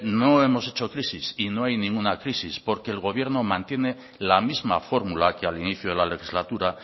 no hemos hecho crisis y no hay ninguna crisis porque el gobierno mantiene la misma fórmula que al inicio de la legislatura